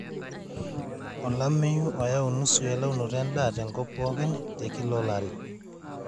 olameyu oyau nusu elaunoto edaa te nkop pookin te Kila olari